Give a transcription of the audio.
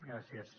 gràcies